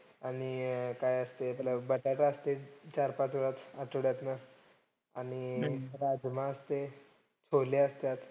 आणि अं काय असतंय आपला बटाटा असतोय चार पाच वेळेस आठ्वड्यातनं. आणि राजमा असतंय, छोले असत्यात.